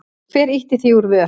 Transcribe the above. Hver ýtti því úr vör?